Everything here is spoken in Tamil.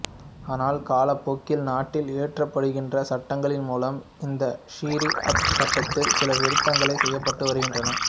ஆனால் காலப்போக்கில் நாட்டில் இயற்றப்படுகின்ற சட்டங்களின் மூலம் இந்த ஷரீ அத் சட்டத்தில் சில திருத்தங்கள் செய்யப்பட்டு வருகின்றன